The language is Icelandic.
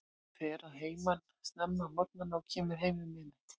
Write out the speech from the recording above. Hann fer að heiman snemma á morgnana og kemur heim um miðnætti.